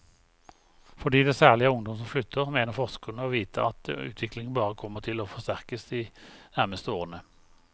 Fordi det særlig er ungdom som flytter, mener forskerne å vite at utviklingen bare kommer til å forsterkes de nærmeste årene.